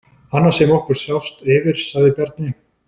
Annað sem okkur sást yfir, sagði Bjarni.